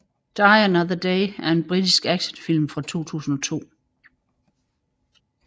Die Another Day er en britisk actionfilm fra 2002